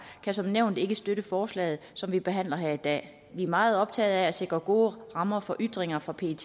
kan som nævnt ikke støtte forslaget som vi behandler her i dag vi er meget optaget af at sikre gode rammer for ytringer for pet